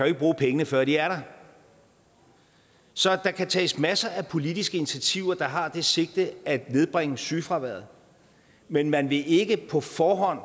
ikke bruge pengene før de er der så der kan tages masser af politiske initiativer der har det sigte at nedbringe sygefraværet men man vil ikke på forhånd